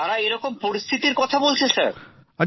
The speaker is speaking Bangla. তারা এরকম পরিস্থিতির কথা বলছেন স্যার